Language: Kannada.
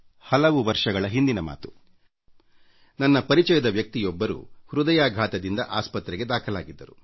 ಹಲವು ವರ್ಷಗಳ ಹಿಂದಿನ ಮಾತು ನನ್ನ ಪರಿಚಯದ ವ್ಯಕ್ತಿಯೊಬ್ಬರು ಹೃದಯಾಘಾತಕ್ಕೀಡಾಗಿ ಆಸ್ಪತ್ರೆಗೆ ದಾಖಲಾಗಿದ್ದರು